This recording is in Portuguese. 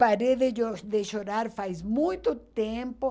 Parei de de chorar faz muito tempo.